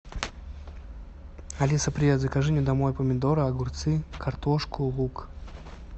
алиса привет закажи мне домой помидоры огурцы картошку лук